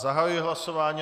Zahajuji hlasování.